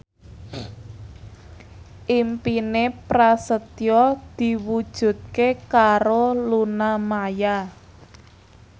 impine Prasetyo diwujudke karo Luna Maya